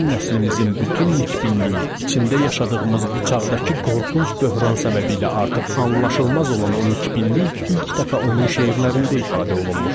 Bizim nəslimizin bütün nikbinliyi, içində yaşadığımız bu çağdakı qorxunc böhran səbəbiylə artıq anlaşılmaz olan o nikbinlik ilk dəfə onun şeirlərində ifadə olunmuşdu.